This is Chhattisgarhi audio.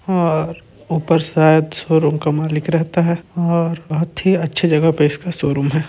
और ऊपर शायद शोरूम का मालिक रहता है और बहुत ही अच्छी जगह पे इसका शोरूम है।